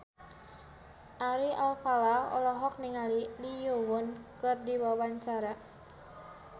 Ari Alfalah olohok ningali Lee Yo Won keur diwawancara